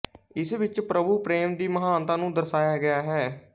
ਇਸ ਵਿੱਚ ਪ੍ਰਭੂ ਪ੍ਰੇਮ ਦੀ ਮਹਾਨਤਾ ਨੂੰ ਦਰਸਾਇਆ ਗਿਆ ਹੈ